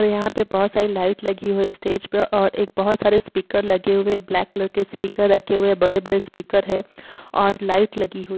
यहाँ पे बहोत सारी लाइट लगी हुई स्टेज पे और एक बहोत सारे स्पीकर लगे हुए हैं। ब्लैक कलर के स्पीकर रखे हुए हैं। बड़े बड़े स्पीकर हैं और लाइट लगी हुई --